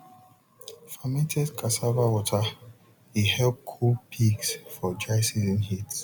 fermented cassava water dey help cool pigs for dry season heat